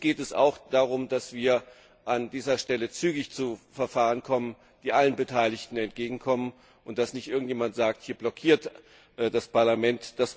Uns geht es auch darum, dass wir an dieser Stelle zügig zu Verfahren kommen, die allen Beteiligten entgegenkommen, und dass nicht irgendjemand sagt, hier blockiert das Parlament.